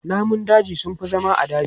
Namun daji sun fi zama a daji.